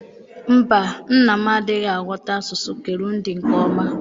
Mba, nna m adịghị aghọta asụsụ Kirundi nke ọma.